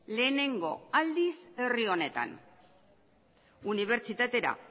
lehenengo aldiz herri honetan unibertsitatera